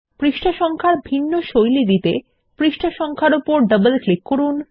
পৃষ্ঠা নম্বর এর ভিন্ন শৈলী দিতে পৃষ্ঠা সংখ্যার উপর ডবল ক্লিক করুন